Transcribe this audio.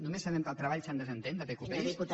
només sabem que el treball se’n desentén de pqpi